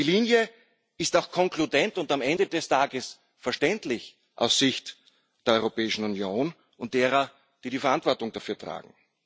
Die Linie ist auch konkludent und am Ende des Tages verständlich aus Sicht der Europäischen Union und derer, die die Verantwortung dafür tragen.